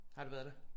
Har du været der